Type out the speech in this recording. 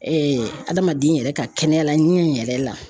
adamaden yɛrɛ ka kɛnɛya la ɲi in yɛrɛ la.